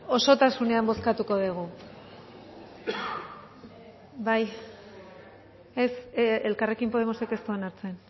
osotasunean bozkatuko dugu ez elkarrekin podemosek ez du onartzen